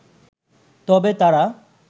তবে তারা